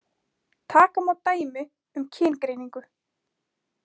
Taka má dæmi um kyngreiningu.